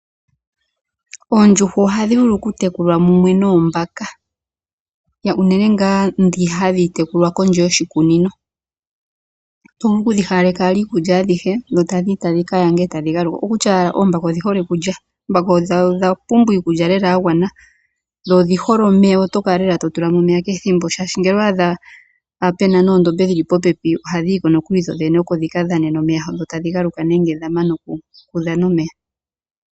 Oondjuhwa ohadhi vulu okutekulwa mumwe noombaka, unene ngaa ndhi hadhi tekulwa kondje yoshikunino. Oto vulu okudhi pa iikulya eta dhi yi e ta dhi galuka, oko kutya owala oombaka odhihole okulya, odha pumbwa iikulya lela ya gwana dho odhihole omeya oto kala lela to tula mo omeya keethimbo shaahsi ngele owa adha puna noondombe shili popepi ohadhi yiko nokuli dhodhene oko dhika dhane nomeya dho tadhi galuka nee ngele dha mana okudhana omeya.